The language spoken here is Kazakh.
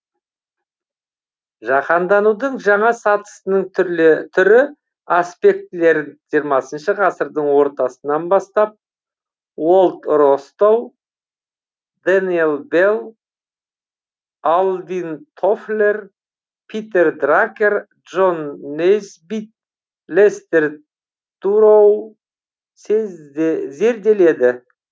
жаһанданудың жаңа сатысының түрлі түрі аспектілерін жиырмасыншы ғасырдың ортасынан бастап уолт ростоу дэниел белл алвин тофлер питер дракер джон нейсбитт лестер туроу зерделеді